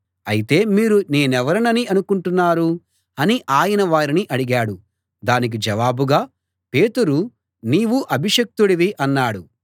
అయితే మీరు నేనెవరినని అనుకుంటున్నారు అని ఆయన వారిని అడిగాడు దానికి జవాబుగా పేతురు నీవు అభిషిక్తుడివి అన్నాడు